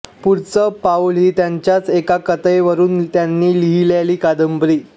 पुढचं पाऊल ही त्यांच्याच एका कथेवरून त्यांनी लिहिलेली कादंबरी